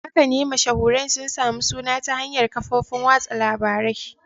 Haka ne, mashahuran sun sami suna ta hanyar kafofin watsa labarai.